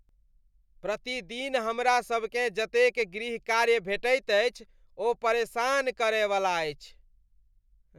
प्रतिदिन हमरासभकेँ जतेक गृहकार्य भेटैत अछि ओ परेशान कर वाला छैक ।